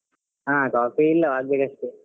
ಹಾ coffee ಇಲ್ಲವ ಆಗ್ಬೇಕಷ್ಟೆ.